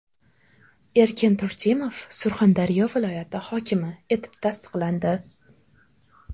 Erkin Turdimov Surxondaryo viloyati hokimi etib tasdiqlandi.